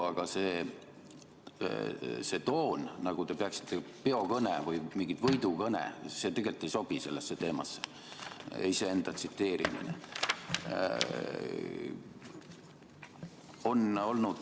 Aga see toon, nagu te peaksite mingit peokõnet või võidukõnet, tegelikult ei sobi sellesse teemasse, samuti iseenda tsiteerimine.